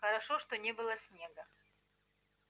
хорошо что не было снега